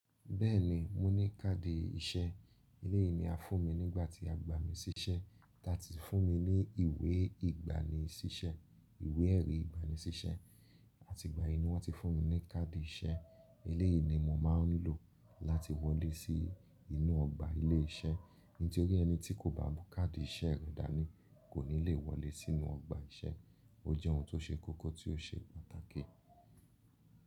Bẹ́ẹ̀ni, mo ní káàdì iṣẹ́. Eleyii ni a fún mi nígbà tí a gbà mí sí iṣẹ́. Táà tí fún mi ní ìwé ìgbàní sí iṣẹ́, ìwé ẹ̀rí ìgbàní sí iṣẹ́ àti ìgbà yìí ni wọ́n ti fún mi ní káàdì iṣẹ́. Eléyìí ni mo máa ń lò láti wọlé sí inú ọgbà ilé iṣẹ́. Nítorí ẹni tí kò bá mù káàdì iṣẹ́ rẹ̀ dání kò ní lè wọlé sínú ọgbà iṣẹ́. Ó jẹ́ ohun tó ṣe kókó tí ó ṣe pàtàkì.